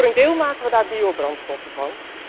Voor een deel maken we daar biobrandstoffen van.